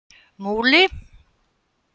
Múli